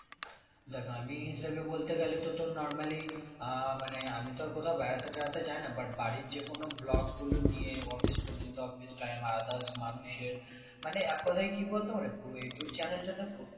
দেখ আমি সে হিসেবে বলতে গেলে তো তোর normally আহ মানে আমি তো আর কোথাও বেড়াতে টেড়াতে যাই না but বাড়ির যেকোনো vlog গুলো নিয়ে office পর্যন্ত বা offive time others মানুষের মানে এক কথায় কি বলতো মানে পুরো ইউটিউব channel টাতে প্রত্যেক